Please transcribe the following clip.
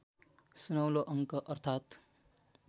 सुनौलो अङ्क अर्थात्